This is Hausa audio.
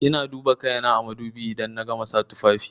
Ina duba kaina da madubi idan na gama sa tufafi.